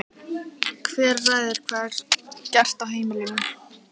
Hver ræður hvað er gert á heimilinu?